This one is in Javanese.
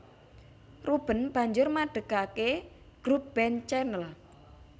Rueben banjur madegake grup band Chanel